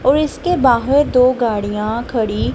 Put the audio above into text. और इसके बाहर दो गाड़ियां खड़ी--